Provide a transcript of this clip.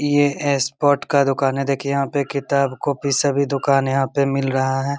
ये स्पोर्ट का दुकान है देखिये यहाँ पे किताब-कॉपी सब ही दुकान यहाँ पे मिल रहा है।